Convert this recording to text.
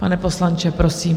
Pane poslanče, prosím.